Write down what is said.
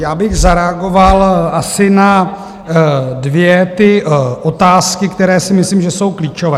Já bych zareagoval asi na dvě ty otázky, které si myslím, že jsou klíčové.